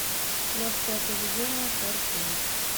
легкое поведение фор кей